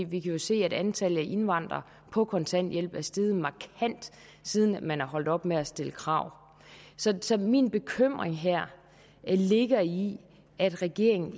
vi kan jo se at antallet af indvandrere på kontanthjælp er steget markant siden man er holdt op med at stille krav så så min bekymring her ligger i at regeringen